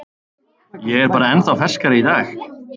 Ég er bara ennþá ferskari í dag.